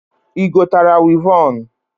Igotara wịvọn?